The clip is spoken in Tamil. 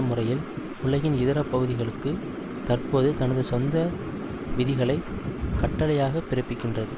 முறையில் உலகின் இதர பகுதிகளுக்கு தற்போது தனது சொந்த விதிகளை கட்டளையாக பிறப்பிக்கின்றது